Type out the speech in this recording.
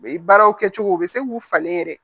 Baaraw kɛcogo u bɛ se k'u falen yɛrɛ